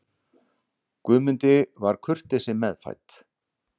Guðmundi var kurteisi meðfædd.